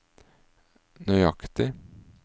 nøyaktig